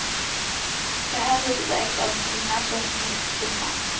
Det här huset ägs av en kvinna som mist sin man.